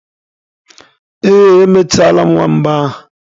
Ee, emechaala m nwamba ahụ.